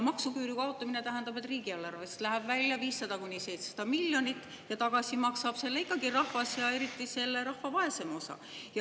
Maksuküüru kaotamine tähendab, et riigieelarvest läheb välja 500–700 miljonit ja tagasi maksab selle ikkagi rahvas, eriti rahva vaesem osa.